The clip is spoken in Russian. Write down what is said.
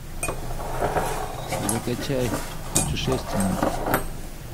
закачай путешественники